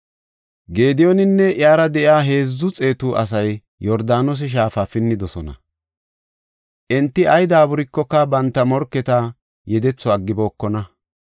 Gediyooninne iyara de7iya heedzu xeetu asay Yordaanose shaafa pinnidosona. Enti ay daaburikoka banta morketa yedetho aggibokona.